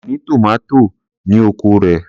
Kò ní tòmátò ní oko rẹ̀.